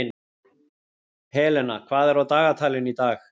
Helena, hvað er á dagatalinu í dag?